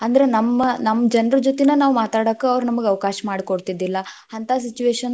ಅಂದ್ರ ನಮ್ ನಮ್ಮ ಜನ್ರ ಜೊತೆನ ನಾವ್ ಮಾತಾಡಾಕ್ ಅವ್ರ ನಮ್ಗ ಅವಕಾಶ ಮಾಡಿ ಕೊಡ್ತೀದ್ದಿಲ್ಲಾ, ಅಂತ situation .